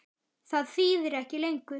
Það þýðir ekki lengur.